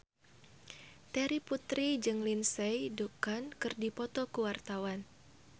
Terry Putri jeung Lindsay Ducan keur dipoto ku wartawan